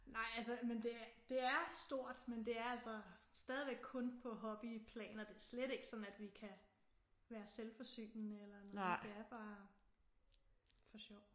Nej altså men det det er stort men det er altså stadigvæk kun på hobbyplan og det er slet ikke sådan at vi kan være selvforsynende eller noget det er bare for sjov